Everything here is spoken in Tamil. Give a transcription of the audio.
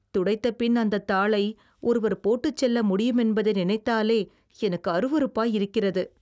துடைத்தபின் அந்தத் தாளை ஒருவர் போட்டுச் செல்ல முடியுமென்பதை நினைத்தாலே எனக்கு அருவருப்பாய் இருக்கிறது